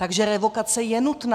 Takže revokace je nutná.